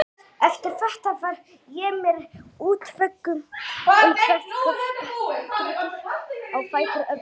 Eftir þetta var ég mér í útvegum um hvert guðspekiritið á fætur öðru.